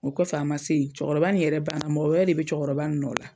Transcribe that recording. O kɔfɛ an ma se yen cɔkɔrɔba in yɛrɛ bana mɔgɔ wɛrɛ de be cɔkɔrɔba in nɔ la